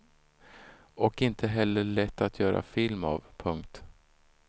Och inte heller lätt att göra film av. punkt